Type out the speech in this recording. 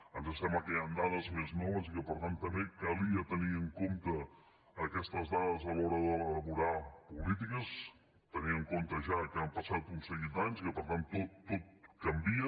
ens sembla que hi han dades més noves i que per tant també calia tenir en compte aquestes dades a l’hora d’elaborar polítiques tenint en compte ja que han passat un seguit d’anys i que per tant tot canvia